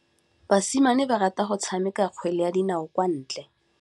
Basimane ba rata go tshameka kgwele ya dinaô kwa ntle.